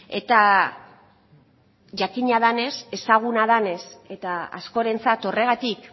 eta jakina denez ezaguna denez eta askorentzat horregatik